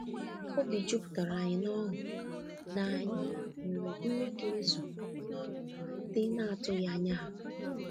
Obi juputaranyi na oghụ na anyị nwere nri ga ezu a kwadebere maka ndị na-atụghị anya ha.